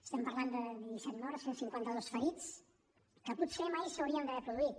estem parlant de disset morts cinquanta dos ferits que potser mai s’haurien d’haver produït